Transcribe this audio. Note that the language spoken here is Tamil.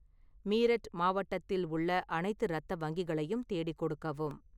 மீரட் மாவட்டத்தில் உள்ள அனைத்து இரத்த வங்கிகளையும் தேடிக் கொடுக்கவும்